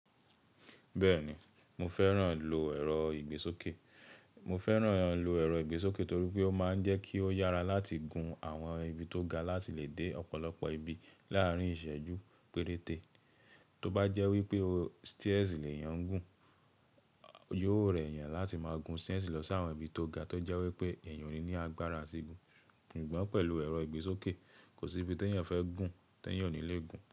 Bẹ́ẹ̀ni, mo fẹ́ràn lò ẹ̀rọ ìgbésókè, mo fẹ́ràn lò ẹ̀rọ ìgbésókè torí pé ó máa ń jẹ́ kí ó yára láti gun àwọn ibi tó ga láti lè dé ọ̀pọ̀lọpọ̀ ibi láàárín ìṣẹ́jú péréte. Tóbá jẹ́ wípé stairs lè yan gùn, yóò rẹ̀yàn láti máa gun stairs lọ sí àwọn ibi tó ga tó jẹ́ wípé ènìyàn ò ní agbára àti gun. Suggbọ̀n pẹ̀lú ẹ̀rọ ìgbésókè, kò sí ibi tí ènìyàn fẹ́ gùn tí ènìyàn ò ní lè gùn.